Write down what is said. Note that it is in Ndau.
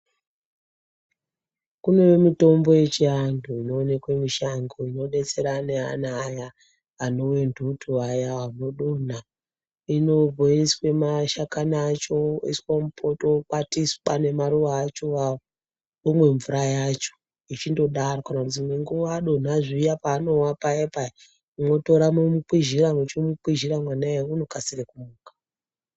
Kune mitombo yechiantu inoonekwe mushango imodetsera neana aya ane ntuturwa vaya vanodonha. Inoiswe mashakani acho oiswe mupoto, okwatiswa nemaruwa acho awawo, onwe mvura yacho echindodaro. Dzimwe nguwa adonha paya paanowa payapaya motora momukwizhira mwechimukwizhira mwana uya unokasira kumuka.